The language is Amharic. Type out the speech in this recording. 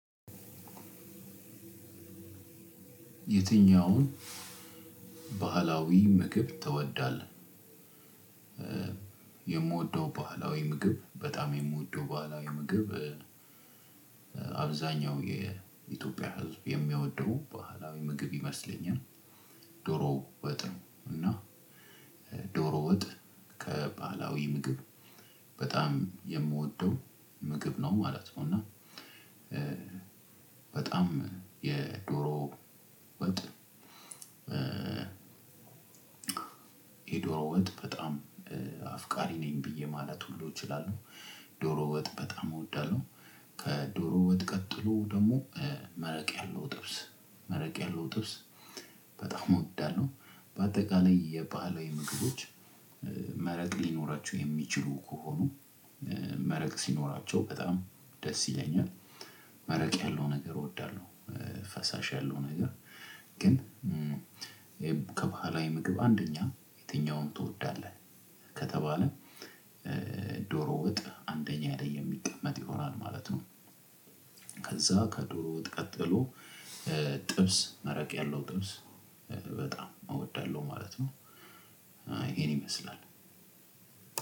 የትኛውን ባህላዊ ምግብ ትወዳለህ? የምወደው ባህላዊ ምግብ በጣም የምወደው ባህላዊ ምግብ አብዛኛው የኢትዮጵያ ህዝብ የሚወደው ባህላዊ ምግብ ይመስለኛል ዶሮ ወጥ ነው። እና ዶሮ ወጥ ከባህላዊ ምግብ በጣም የምወደው ምግብ ነው ማለት ነው። እና በጣም የዶሮ ወጥ የዶሮ ወጥ በጣም አፍቃሪ ነኝ ብዬ ማለት ሁሉ እችላለው። ዶሮ ወጥ በጣም እወዳለሁ። ከዶሮ ወጥ ቀጥሎ ደግሞ መረቅ ያለው ጥብስ መረቅ ያለው ጥብስ በጣም እወዳለሁ። በአጠቃላይ የባህላዊ ምግቦች መረቅ ሊኖራቸው የሚችሉ ከሆኑ መረቅ ሲኖራቸው በጣም ደስ ይለኛል። መረቅ ያለው ነገር እወዳለሁ። ፈሳሽ ያለው ነገር ግን ከባህላዊ ምግብ አንደኛ የትኛውን ትወዳለህ? ከተባለ ዶሮ ወጥ አንደኛ ላይ የሚቀመጥ ይኖራል ማለት ነው። ከዛ ከዶሮ ወጥ ቀጥሎ ጥብስ መረቅ ያለው ጥብስ በጣም እወዳለሁ ማለት ነው። አይ ይሄን ይመስላል